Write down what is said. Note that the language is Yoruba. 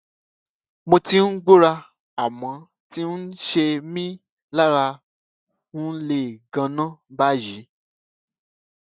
mo ti ń gbọra àmọn ti ń ṣe mí lára ń le ganan báyìí